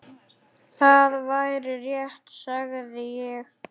Það væri rétt, sagði ég.